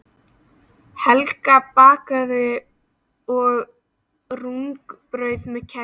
Helga bakaði, og rúgbrauð með kæfu.